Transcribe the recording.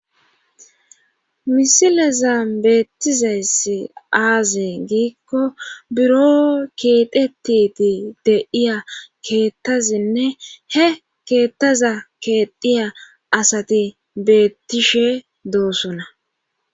misileza beettizayssi aazi giikko buro keetetiti deiya keettazinne he keettaza keedhiya asati beettishe doosona